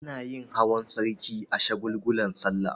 Anayin hawan sarki a shagulgulan sallah